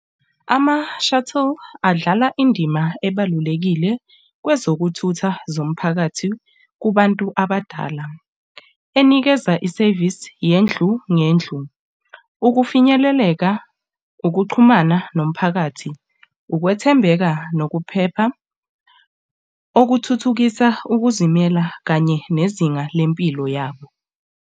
Ama-shuttle adlala indima ebalulekile kwezokuthutha zomphakathi kubantu abadala. Inikeza isevisi yendlu nendlu ukufinyeleleka, ukuxhumana nomphakathi, ukwethembeka, nokuphepha okuthuthukisa ukuzimela kanye nezinga lempilo yabo.